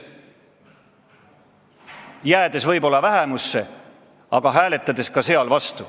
Jääme võib-olla vähemusse, aga hääletame ka seal vastu.